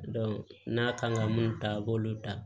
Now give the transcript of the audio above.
n'a kan ka mun ta a b'olu dan